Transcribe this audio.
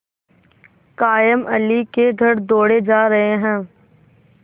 कायमअली के घर दौड़े जा रहे हैं